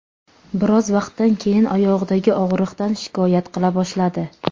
Biroz vaqtdan keyin oyog‘idagi og‘riqdan shikoyat qila boshladi.